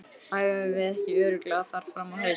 Æfum við ekki örugglega þar fram á haust?